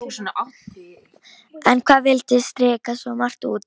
En hann vildi strika svo margt út.